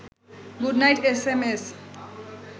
good night S M S